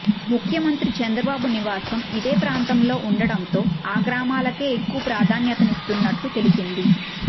ముఖ్యమంత్రి చంద్రబాబు నివాసం ఇదే ప్రాంతంలో ఉండటంతో ఆ గ్రామాలకే ఎక్కువ ప్రాధాన్యతిస్తున్నట్లు తెలిసింది